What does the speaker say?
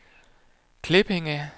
Klippinge